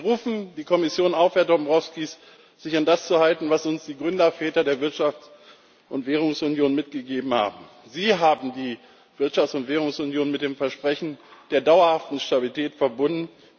Wir rufen die Kommission auf, Herr Dombrovskis, sich an das zu halten, was uns die Gründerväter der Wirtschafts und Währungsunion mitgegeben haben Sie haben die Wirtschafts und Währungsunion mit dem Versprechen der dauerhaften Stabilität verbunden.